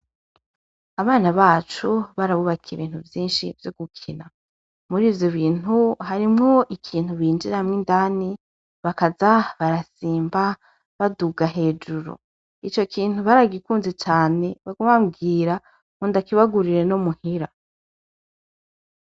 Abana bacu barabubakiye ibintu vyinshi vyo gukina muri vyo bintu harimwo ikintu binjiramwo indani bakaza barasimba baduga hejuru ico kintu baragikunze cane bagumabwira mundakibagurire no muhira.